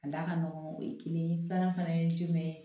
A da ka nɔgɔn o ye kelen ye filanan fana ye jumɛn ye